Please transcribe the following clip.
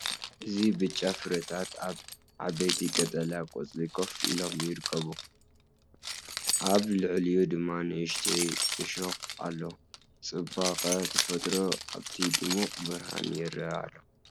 እዚ ብጫ ፍረታት ኣብ ዓበይቲ ቀጠልያ ቆጽሊ ኮፍ ኢሎም ይርከቡ፡ ኣብ ልዕሊኡ ድማ ንእሽቶ እሾኽ ኣሎ። ጽባቐ ተፈጥሮ ኣብቲ ድሙቕ ብርሃን ይረአ ኣሎ።